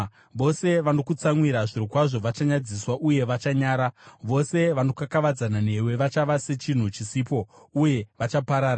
“Vose vanokutsamwira zvirokwazvo vachanyadziswa uye vachanyara; vose vanokakavadzana newe vachava sechinhu chisipo uye vachaparara.